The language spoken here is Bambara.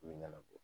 ɲɛnabɔ